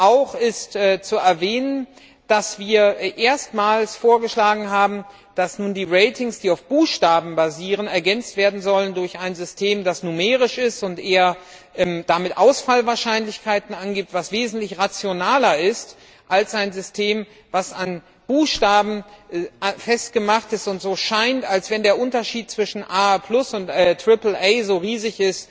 Auch ist zu erwähnen, dass wir erstmals vorgeschlagen haben, dass die Ratings, die auf Buchstaben basieren, ergänzt werden sollen durch ein System, das numerisch ist und damit, was Ausfallwahrscheinlichkeiten angeht, wesentlich rationaler ist als ein System, das an Buchstaben festgemacht ist, bei dem es scheint, als ob der Unterschied zwischen A und triple A riesig